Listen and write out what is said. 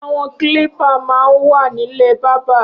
Awọn klípà mà n wà nilé bàbà